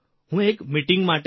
હું એક મીટીંગ માટે